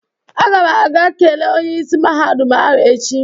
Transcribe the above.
Agam aga kelee Onye isi mahadum ahụ echi.